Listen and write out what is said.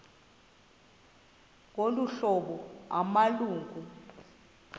ngolu hlobo amalungu